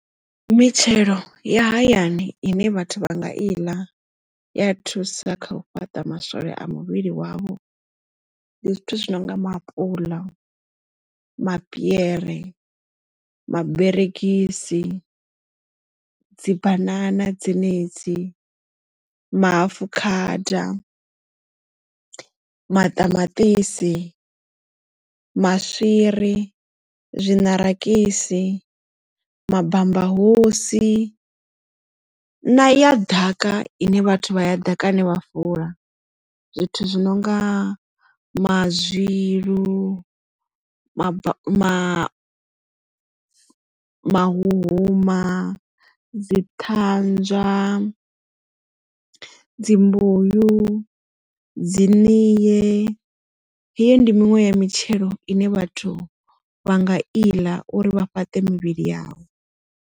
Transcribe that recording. Mitshelo ya hayani ine vhathu vha nga i ḽa ya thusa kha u fhaṱa maswole a muvhili wavho ndi zwithu zwi nonga maapuḽa, mapiere, maberegisi dzibanana dzenedzi maafukhada maṱamaṱisi, maswiri, zwinarakisi, mabambahosi na ya ḓaka ine vhathu vha ya ḓakani vha fula zwithu zwi nonga mazwilu ma ma mahuhuma dzi ṱhanzwa dzi mbuyu dzi niye heyi ndi miṅwe ya mitshelo ine vhathu vha nga iḽa uri vha fhate mivhili yavho.